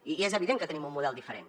i és evident que tenim un model diferent